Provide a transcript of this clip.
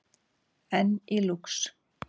Enn í Lúx